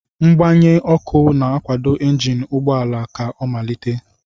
Mgbanye ọkụ na-akwado injin ụgbọ ala ka ọ malite.